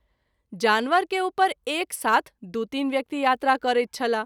जानवर के उपर एक साथ दू तीन व्यक्ति यात्रा करैत छलाह।